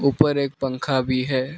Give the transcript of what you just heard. ऊपर एक पंखा भी है।